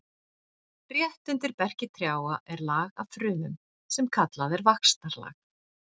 Rétt undir berki trjáa er lag af frumum sem kallað er vaxtarlag.